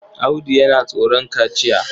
Audu yana tsoron kaciya.